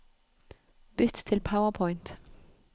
Bytt til PowerPoint